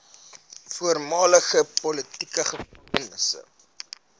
voormalige politieke gevangenes